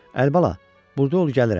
Əlibala, burda ol gəlirəm.